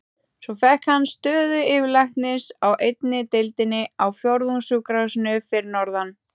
Svo fékk hann stöðu yfirlæknis á einni deildinni á Fjórðungssjúkrahúsinu fyrir norðan.